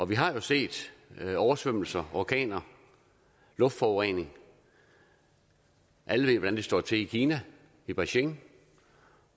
vi har jo set oversvømmelser orkaner luftforurening alle ved hvordan det står til i kina i beijing